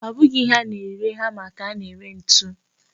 Ọ bụghị ihe a na-ere hama ka a na-ere ntu.